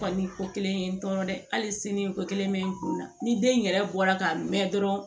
Kɔni ko kelen ye n tɔɔrɔ dɛ hali sini ko kelen bɛ n kun na ni den yɛrɛ bɔra ka mɛn dɔrɔn